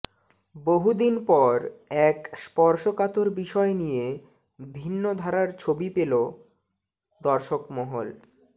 বহুদিন পর এক স্পর্ষকাতর বিষয় নিয়ে ভিন্ন ধারার ছবি পেল দর্শকমহল